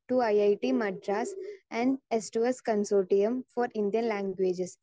speaker 2 two I I T Madras and S two S consortium for Indian languages